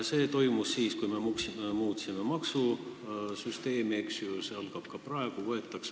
See toimus siis, kui me muutsime maksusüsteemi, eks ju, ja see toimub ka nüüd.